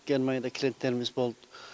германияда клиенттеріміз болды